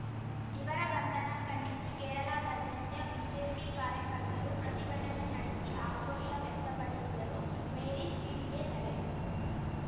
ಇವರ ಬಂಧನ ಖಂಡಿಸಿ ಕೇರಳದಾದ್ಯಂತ ಬಿಜೆಪಿ ಕಾರ್ಯಕರ್ತರು ಪ್ರತಿಭಟನೆ ನಡೆಸಿ ಆಕ್ರೋಶ ವ್ಯಕ್ತಪಡಿಸಿದರು ಮೇರಿ ಸ್ವೀಟಿಗೆ ತಡೆ